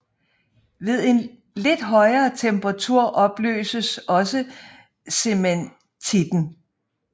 Ved en lidt højere temperatur opløses også cementitten